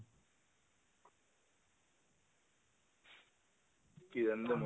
কি জানো